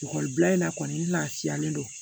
Ekɔlibila in na kɔni n lafiyalen don